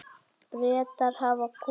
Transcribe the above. Bretar hafa kosið.